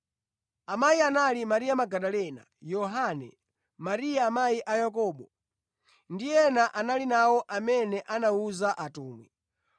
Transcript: Amayi anali Mariya Magadalena, Yohana, Mariya amayi a Yakobo, ndi ena anali nawo amene anawuza atumwi.